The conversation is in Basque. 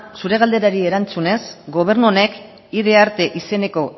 zure galderari erantzunez gobernu honek id arte izeneko